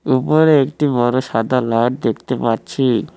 উপরে একটি বড়ো সাদা লাইড দেখতে পাচ্ছি।